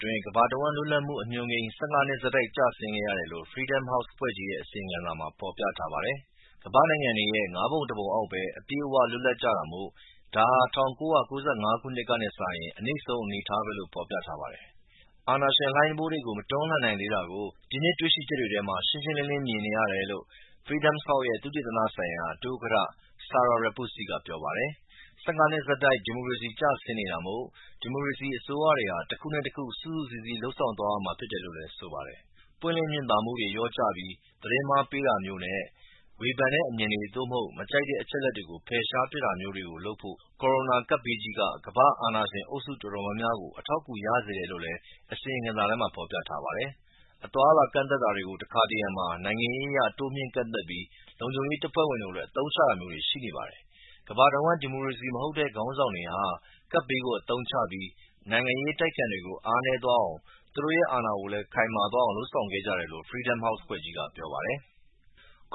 တွင်း ကမ္ဘာတဝှမ်း လွတ်လပ်မှုအညွှန်းကိန်း ၁၅ နှစ်ဆက်တိုက်ကျဆင်းခဲ့ရတယ်လို့ Freedom House အဖွဲ့ကြီးရဲ့ အစီရင်ခံစာမှာ ဖော်ပြထားပါတယ်။ ကမ္ဘာ့နိုင်ငံတွေရဲ့ ငါးပုံတပုံ အောက်ပဲ အပြည့်အဝလွတ်လပ်ကြတာမို့ဒါဟာ ၁၉၉၅ ကတည်းက အနိမ့်ဆုံးအနေအထားပဲလို ့ဖော်ပြထားပါတယ်။ အာဏာရှင်လှိုင်းတံပိုးတွေကို မတွန်းလှန်နိုင်သေးတာကို ဒီနှစ်တွေ့ရှိချက်တွေထဲမှာ ရှင်းရှင်းလင်းလင်းမြင်နေရတယ်လို့ Freedom House ရဲ့ သုတေသနဆိုင်ရာ ဒုဥက္ကဌ Sarah Repucci ကပြောပါတယ်။ ၁၅ နှစ်ဆက်တိုက် ဒီမိုကရေစီကျဆင်းနေတာမို့ ဒီမိုကရေစီအစိုးရတွေဟာ တခုနဲ့တခု စုစုစည်းစည်းလုပ်ဆောင်သွားရမှာဖြစ်တယ်လို့လည်းဆိုပါတယ်။ ပွင့်လင်းမြင်သာမှုတွေလျော့ကျပြီး သတင်းမှားတွေပေးတာမျိူးနဲ့ဝေဖန်တဲ့ အမြင်တွေ သို့မဟုတ် မကြိုက်တာတဲ့ အချက်အလက်တွေကို ဖယ်ရှားပစ်တာမျိူးတွေလုပ်ဖို့ ကိုရိုနာ ကပ်ဘေးကြီးက ကမ္ဘာ့ အာဏာရှင်အုပ်စုတော်တော်များများကို အထောက်အကူရစေခဲ့တယ်လို့ အစီရင်ခံစာထဲမှာ ဖော်ပြထားပါတယ်။ အသွားအလာကန့်သတ်တာတွေကို တခါတရံမှာ နိုင်ငံရေးအရ တိုးမြှင့်ကန့်သတ်ပြီး လုံခြုံရေးတပ်ဖွဲ့တွေကို အသုံးချတာမျိုးတွေရှိပါတယ်။ ကမ္ဘာတဝှမ်းက ဒီမိုကရေစီမဟုတ်တဲ့ ခေါင်းဆောင်တွေဟာ ကပ်ဘေးကို အသုံးချပြီး နိုင်ငံရေးအတိုက်အခံတွေကို အားနည်းသွားအောင်၊ သူတို့ရဲ့ အာဏာကို ခိုင်မာသွားအောင်လုပ်ဆောင်ခဲ့ကြတယ်လို့ Freedom House အဖွဲ့ကြီးက ပြောပါတယ်။